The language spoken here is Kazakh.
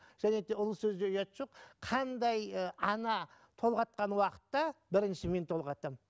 және де ұлы сөзде ұят жоқ қандай ы ана толғатқан уақытта бірінші мен толғатамын